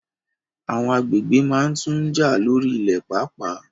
Àwọn agbègbè máa tun jà lórí ilẹ̀ paapaa